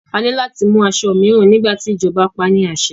A ní láti mú aṣọ mìíràn nígbà tí ìjọba paá ní àṣẹ.